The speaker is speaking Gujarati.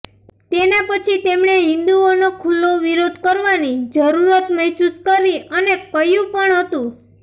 તેના પછી તેમણે હિંદુઓનો ખુલ્લો વિરોધ કરવાની જરૂરત મહેસૂસ કરી અને કર્યું પણ હતું